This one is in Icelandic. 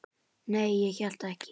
Nei, ég hélt ekki.